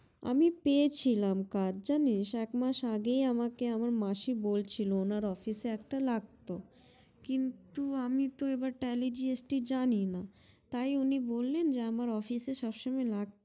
আমি পেয়েছিলাম কাজ জানিস এক মাস আগেই আমার মাসি বলছিলো উনার office এ একটা লাগতো কিন্তু আমি এবার tally gst জানি না তাই উনি বললেন যে আমার office এ লাগতো